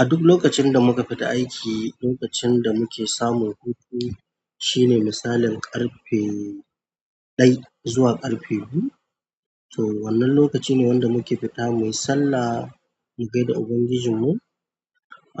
A duk lokacin da muka fita aiki, lokacin da muke samun hutu shine misalin ƙarfe dai zuwa ƙarfe biyu so wannan lokaci ne wanda muke fita muyi sallah mu gaida ubangijinmu.